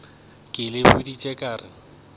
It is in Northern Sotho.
ke le boditše ka re